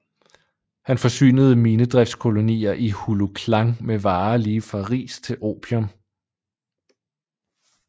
Han forsynede minedriftskolonier i Hulu Klang med varer lige fra ris til opium